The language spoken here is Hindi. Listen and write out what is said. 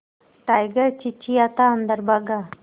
टाइगर चिंचिंयाता अंदर भागा